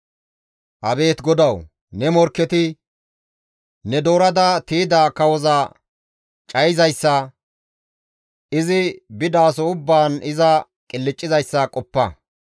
Abeet GODAWU! Ne morkketi ne doorada tiyda kawoza cayizayssa, izi bidaso ubbaan iza qilccizayssa qoppa.